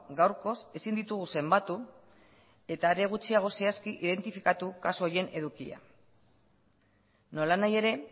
gaurkoz ezin ditugu zenbatu eta are gutxiago zehazki identifikatu kasu horien edukia nolanahi ere